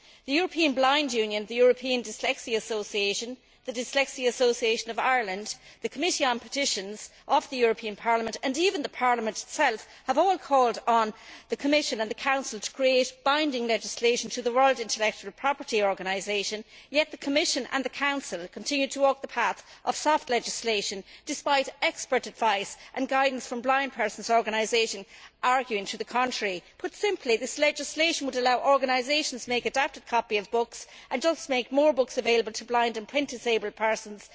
The European Blind Union, the European Dyslexia Association, the Dyslexia Association of Ireland, the Committee on Petitions of the European Parliament and even Parliament itself, have all called on the Commission and the Council to create binding legislation through the World Intellectual Property Organisation, yet the Commission and Council continue to walk the path of soft legislation, despite expert advice and guidance from blind persons' organisations arguing to the contrary. Put simply, this legislation would allow organisations to make an adapted copy of books and therefore make more books available to blind and print disabled persons.